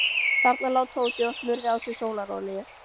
Þarna lá Tóti og smurði á sig sólarolíu.